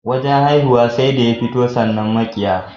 wajan haihuwa sai da ya fito sannan mabiyya